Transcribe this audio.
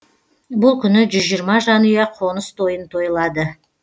бұл күні жүз жиырма жанұя қоныс тойын тойлады